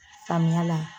Samiya la